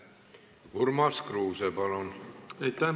Urmas Kruuse, palun!